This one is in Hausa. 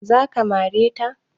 Za ka mare ta?